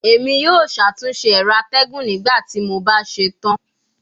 Emi yoo ṣatunṣe ẹrọ atẹgun nigbati mo ba ṣetan